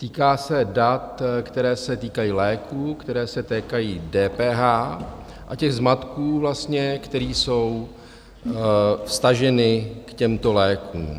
Týká se dat, která se týkají léků, která se týkají DPH a těch zmatků vlastně, který jsou vztaženy k těmto lékům.